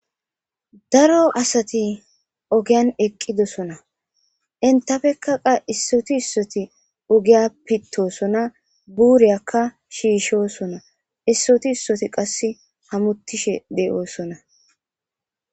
Daro asati ogiyan eqqidosona. Entapeka qasi issoti issoti ogiya pittosona. Buuriyakka shiishosona. Issoti issoti qasi hamuttishe de'oosona.